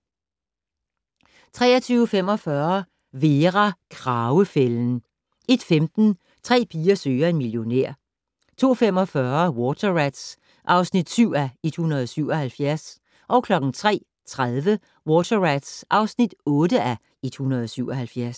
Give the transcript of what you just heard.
23:45: Vera: Kragefælden 01:15: Tre piger søger en millionær 02:45: Water Rats (7:177) 03:30: Water Rats (8:177)